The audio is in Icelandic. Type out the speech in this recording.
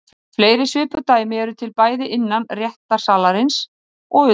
Fleiri svipuð dæmi eru til, bæði innan réttarsalarins og utan.